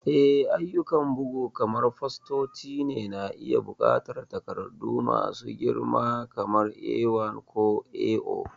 Eh, ayyukan bugu kamar fastoci na iya buƙatar takardu masu girma kamar A1 ko A0.